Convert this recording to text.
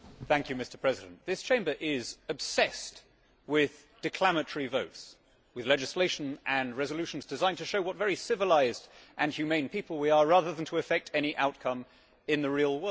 Mr President, this Chamber is obsessed with declamatory votes, with legislation and resolutions designed to show what very civilised and humane people we are, rather than to effect any outcome in the real world.